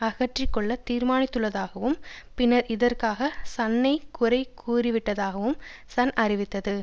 அகற்றிக்கொள்ள தீர்மானித்துள்ளதாகவும் பின்னர் இதற்காகச் சன்னைக் குறை கூறிவிட்டதாகவும் சன் அறிவித்தது